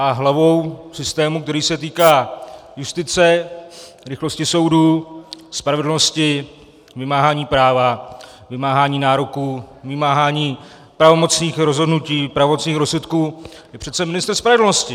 A hlavou systému, který se týká justice, rychlosti soudů, spravedlnosti, vymáhání práva, vymáhání nároků, vymáhání pravomocných rozhodnutí, pravomocných rozsudků, je přece ministr spravedlnosti.